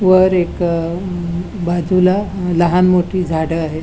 वर एक बाजुला अ लहान मोठी झाड आहेत.